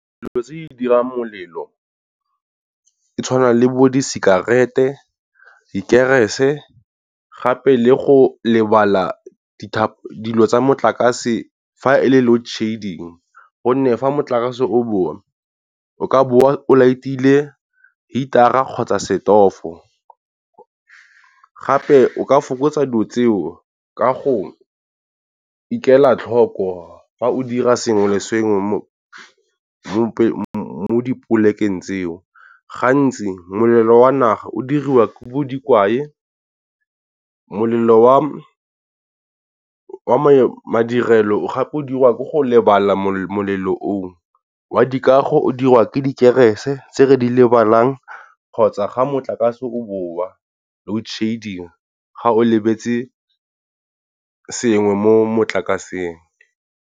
Dilo tse di dirang molelo go tshwana le bo disekerete, dikerese gape le go lebala dilo tsa motlakase fa e le load shedding. Gonne fa motlakase o boa, o ka boa laetile heater-ra kgotsa setofo, gape o ka fokotsa dilo tseo ka go ikela tlhoko fa o dira sengwe le sengwe mo mo dipolekeng tseo. Gantsi molelo wa naga o diriwa ke dikwae molelo wa wa madirelo gape o dirwa ko go lebala. Molelo o wa dikago o dirwa ke dikerese tse re di lebalang kgotsa ga motlakase o boa load shedding ga o lebetse sengwe mo motlakaseng.